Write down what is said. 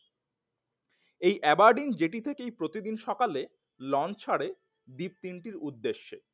এই Aberdeen jetty থেকেই প্রতিদিন সকালে লঞ্চ ছাড়ে দ্বীপ তিনটির উদ্দেশ্য।